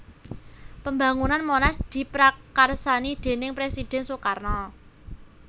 Pambangunan Monas diprakarsani déning Presiden Soekarno